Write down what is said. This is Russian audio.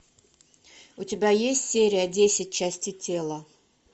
у тебя есть серия десять части тела